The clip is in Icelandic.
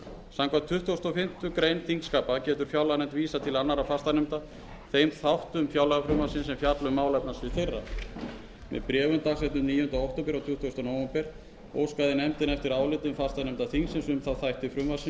samkvæmt annarri málsgrein tuttugustu og fimmtu greinar þingskapa getur fjárlaganefnd vísað til annarra fastanefnda þeim þáttum fjárlagafrumvarpsins sem fjalla um málefnasvið þeirra með bréfum dags níundi október og tuttugasta nóvember síðastliðnum óskaði nefndin eftir álitum fastanefnda þingsins um þá þætti frumvarpsins sem varða málefnasvið hverrar um